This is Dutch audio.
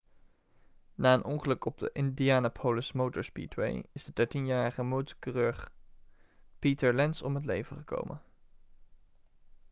na een ongeluk op de indianapolis motor speedway is de dertienjarige motorcoureur peter lenz om het leven gekomen